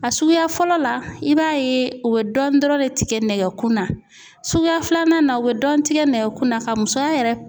A suguya fɔlɔ la i b'a ye u bɛ dɔɔnin dɔrɔn de tigɛ nɛgɛ kunna suguya filanan na o bɛ dɔɔnin tigɛ nɛgɛkunna ka musoya yɛrɛ.